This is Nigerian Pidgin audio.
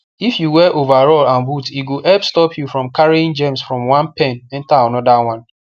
if you wear overall and boot e go help stop you from carrying germs from one pen enter another one